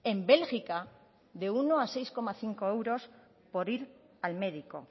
en bélgica de uno a seis coma cinco euros por ir al médico